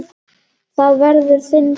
Það verður þinn bani.